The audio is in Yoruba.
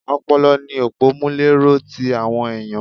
Ọpọlọ ni òpọ́múléró ti àwọn ẹ̀yàn.